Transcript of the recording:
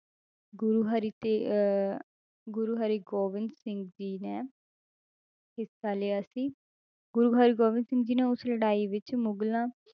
ਗੁਰੂ ਹਰਿ ਤੇ~ ਅਹ ਗੁਰੂ ਹਰਿਗੋਬਿੰਦ ਸਿੰਘ ਜੀ ਨੇ ਹਿੱਸਾ ਲਿਆ ਸੀ, ਗੁਰੂ ਹਰਿਗੋਬਿੰਦ ਸਿੰਘ ਜੀ ਨੇ ਉਸ ਲੜਾਈ ਵਿੱਚ ਮੁਗਲਾਂ